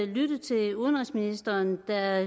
lytte til udenrigsministeren der